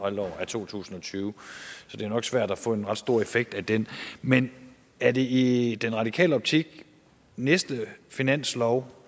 halvår af to tusind og tyve så det er nok svært at få en ret stor effekt af den men er det i den radikale optik næste finanslov